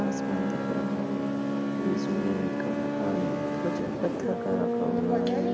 आसमान दिख रहा है बीच मे एक अ कुछ पत्थर का रखा हुआ-- है।